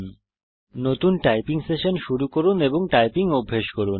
এখন নতুন typing session শুরু করুন এবং টাইপিং অভ্যেস করুন